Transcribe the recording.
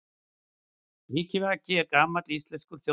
Vikivaki er gamall íslenskur þjóðdans.